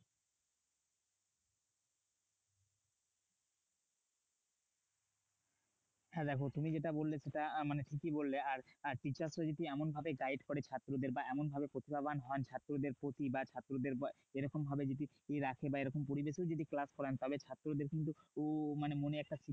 হ্যাঁ দেখো তুমি যেটা বললে সেটা মানে ঠিকই বললে। আর teachers রা যদি এমনভাবে guide করে ছাত্রদের বা এমনভাবে প্রতিভাবান হন ছাত্রদের প্রতি। বা ছাত্রদের এরকমভাবে যদি রাখে বা এরকম পরিবেশেও যদি class করায় তবে ছাত্রদের কিন্তু মনে একটা শিক্ষা